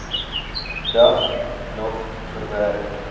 dag nog verwerk